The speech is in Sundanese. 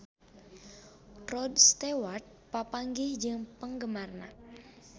Rod Stewart papanggih jeung penggemarna